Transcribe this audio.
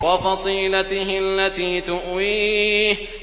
وَفَصِيلَتِهِ الَّتِي تُؤْوِيهِ